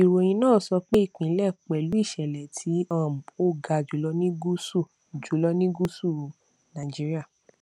ìròyìn náà sọ pé ìpínlẹ pẹlú ìṣẹlẹ tí um ó ga jùlọ ní gúúsù jùlọ ní gúúsù nàìjíríà